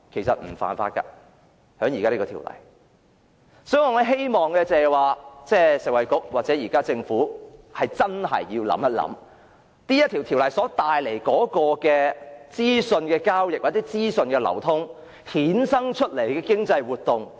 所以，我希望食物及衞生局或政府想清楚應如何處理《條例草案》下資訊交易或資訊流通所衍生出的經濟活動。